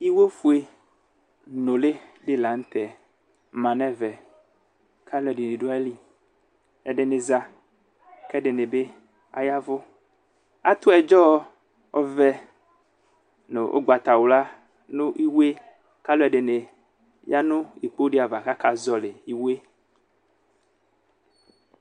Iwofue nʋli di lanʋ tɛ manʋ ɛvɛ kʋ alʋɛdini dʋ ayili ɛdini za kʋ ɛdini bi aya ɛvʋ atʋ ɛdzɔ ɔvɛ nʋ ʋgbatawla nʋ iwo yɛ kʋ alʋɛdini yanʋ ukpo di ava kʋ akazɔli iwo yɛ